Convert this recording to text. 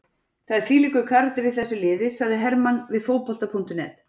Það er þvílíkur karakter í þessu liði, sagði Hermann við Fótbolta.net.